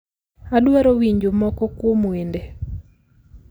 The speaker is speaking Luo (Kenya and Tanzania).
Adwaro winjo moko kuom wende